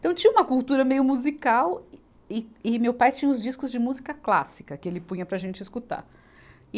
Então tinha uma cultura meio musical e, e, e meu pai tinha uns discos de música clássica que ele punha para a gente escutar. e